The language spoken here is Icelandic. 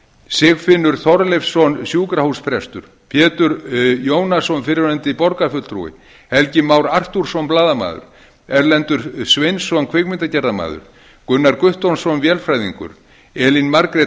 sigfinnur þorleifsson sjúkrahúsprestur pétur jónasson fyrrverandi borgarfulltrúi helgi már arthúrsson blaðamaður erlendur sveinsson kvikmyndagerðarmaður gunnar guttormsson vélfræðingur elín margrét